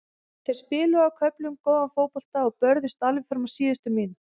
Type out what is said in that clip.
Þeir spiluðu á köflum góðan fótbolta og börðust alveg fram á síðustu mínútu.